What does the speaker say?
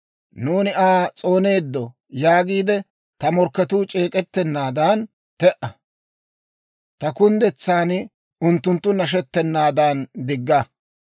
«Nuuni Aa s'ooneeddo» yaagiide, ta morkketuu c'eek'ettennaadan te"a. Ta kunddetsan unttunttu nashettenaadan digga.